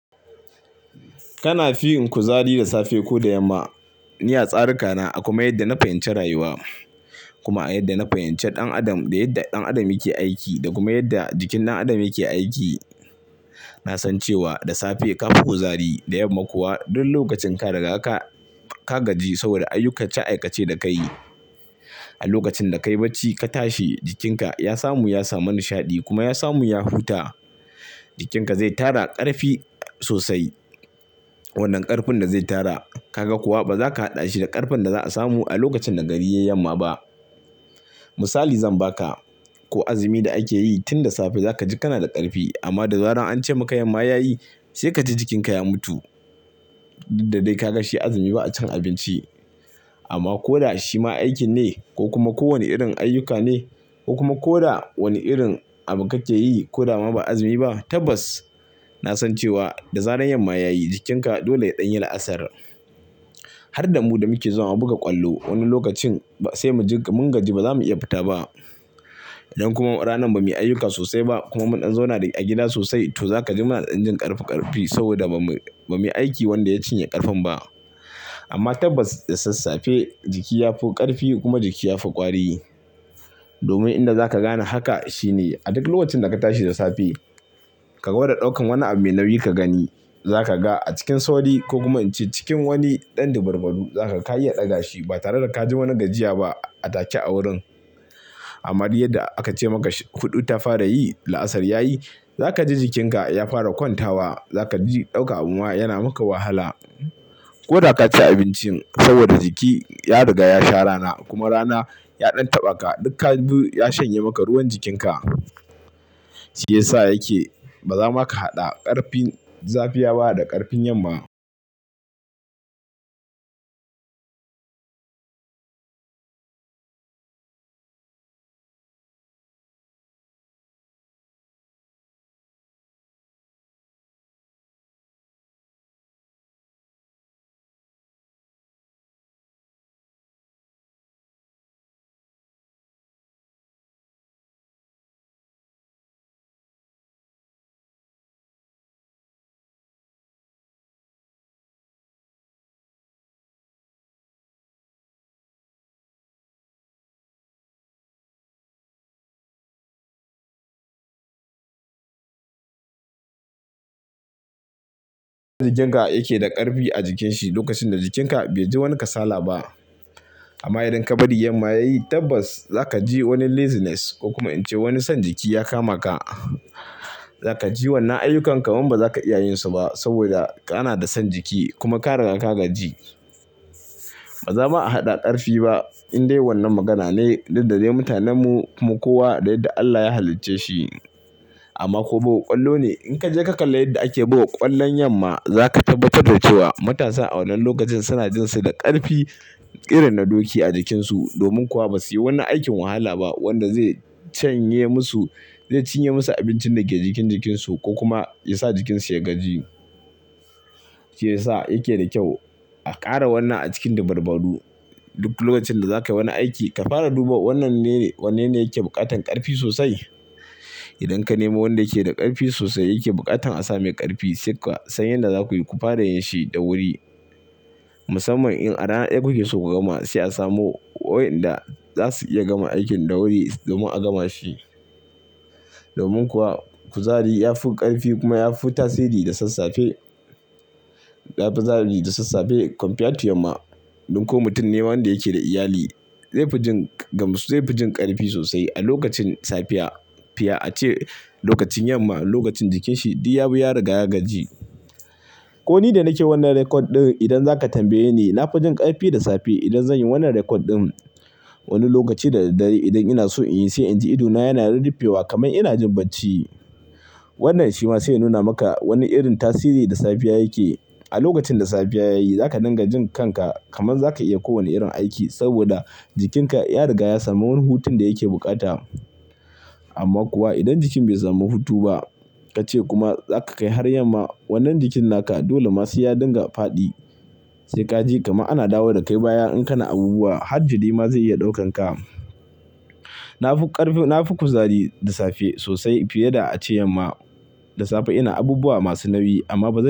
Kana fi yin kuzari da safe ko da yamma? Ni a tsarika na, a kuma yadda na fahimci rayuwa, kuma a yadda na fahimce ɗan Adam da yadda ɗan Adam yake aiki da kuma yadda jikin ɗan Adam yake aiki, na san cewa da safe ka fi kuzari, da yamma kuwa duk lokacin ka daga ka, ka gaji saboda ayyukace-aikace da ka yi. A lokacin da ka yi barci ka tashi, jikinka ya samu, ya samu nishaɗi kuma ya samu ya huta. Jikinka zai tara ƙarfi sosai. Wannan ƙarfin da zai tara, ka ga kuwa ba za ka haɗa shi da ƙarfin da za a samu a lokacin da gari ya yamma ba. Misali zan ba ka. Ko azumi da ake yi, tun da safe za ka ji kana da ƙarfi amma da zarar an ce maka yamma ya yi, sai ka ji jikinka ya mutu. Duk da dai ka ga shi azumi ba a cin abinci. Amma ko da shi ma aikin ne ko kuma kowane irin ayyuka ne ko kuma ko da wani irin abu ka ke yi ko da ma ba azumi ba, tabbas na san cewa da zaran yamma ya yi, jikinka dole ya ɗan yi la'asar. Har da mu da muke zawa har buga ƙwallo, wani lokacin ba sai mu ji kam mun gaji ba za mu iya fita ba. Idan kuma rana ba mu yi ayyuka sosai ba kuma mu ɗan zauna a gida sosai, toh za ka ji muna da dan jin ƙarfi ƙarfi saboda ba mu, ba mu yi aiki wanda ya cinye ƙarfin ba. Amma tabbas da sassafe jiki ya fi ƙarfi kuma jiki ya fi ƙwari. Domin inda za ka gane haka shine a duk lokacin da ka tashi da safe, ka gwada ɗaukan wani abu mai nauyi ka gani. Zaka ga a cikin sauri ko cikin wani dan dabarbaru, za ka ga ka iya daga shi ba tare da ka ji wani gajiya ba a take a wurin. Amma duk yadda aka ce maka shi hudu ta fara yi la'asar yayi zaka ji jikinka ya fara kwantawa. Zaka ji dauka abu ma yana maka wahala. Ko daka ci abincin sobada jiki, ya riga ya rana, kuma rana ya dan tabba ka duk ka bi ya shanya maka ruwan jikinka. Shiyasa yake ba zama ka hada karfin safiya ba da karfin yamma. Jininka yake da karfi a jikinshi lokacin da jikinka bai ji wani kasala ba. Ama indan ka bari yamma yayi tabbas zaka ji wani laziness ko kuma in ce wani son jiki ya kama ka, zaka ji wannan ayukan kaman ba zaka iya yin su ba saboda kana da son jiki kuma ka riga ka gajji. Ba za ma a hada karfi ba in dai wannan magana ne tunde mutanin mu kuma kowa da yanda Allah ya halice shi. Ama ko buga kwallo ne inka je ka kalle yanda ake buga kwallon yamma zaka tabbatar da cewa matasa a wannan lokaci suna jin su da karfi irin na doki a jikinsu. Domin kuwa basu yi wani aikin wahala ba wanda zai canye masu, zai cinye masu abinci da ke cikin jikin su ko kuma yasa jikinsu ya gajji. Shiyasa yake da kyau a kara wannan a cikin dabarbaru duk lokacin da zaka wani aiki ka fara duba wannan ne, wannene yake bukatan karfi sosai. Inde ka nemo wanda yake da karfi sosai yake bukatan a sa mai karfi sai ka san yanda zaku yi ku fara yin shi da wuri. Musamman in aran en gubin sun bugan ma sai a samo waenna dasu iya gama aikin da wuri don a gama shi. Domin kuwa kuzari ya fi ƙarfi kuma ya fi tasiri da sassafe. Ya fi zahari da sasafe compared to yamma. Don ko mutum ne wanda ke da iyali zai fi jin gamsu karfi sosai a lokacin safiya fiya a ce lokacin yamma lokacin jikinshi duk ya bi ya riga ya gajji. Ko ni da nake wannan record din inda zaka tambaye ni na fi jin karfi da safe inde zan yi wannan record din. Wanni lokaci da dadare indan ina so inyi sai in ji ido na yana refewa kamar ina jin bacci. Wannan shi ma sai ya nuna maka wani irin tasihin da safiyaya yake yi. A lokaci da safiya yayi zaka dinga jin kanka kamar zaka iya kowane irin aiki saboda jikinka riga ya samu hutun da yake bukata. Ama kuwa indan jikin bai samu hutu ba ka ce kuma zaka kai har yamma wannan jikin naka dole ma sai dinga fadi sai ka ji kamar ana dawo da kai baya. In kana abubuwa har jiri ma zai iya daukan ka. Na fi ƙarfi, na fi kuzari da safe sosai fiye da a ce yamma. Da safe ina abubuwa masu nauyi amma ba zan.